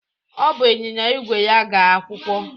O buu ịnyịnya ígwè ya gaa akwụkwọ